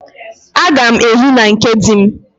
Agam ehi na nke di m.